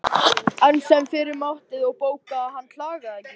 Enn sem fyrr mátti þó bóka að hann klagaði ekki.